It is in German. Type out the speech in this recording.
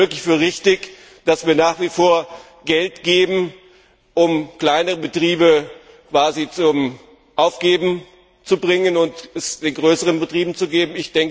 Halten Sie es wirklich für richtig, dass wir nach wie vor Geld geben, um kleinere Betriebe quasi zum Aufgeben zu bewegen, um dann den größeren Betrieben Geld zu geben?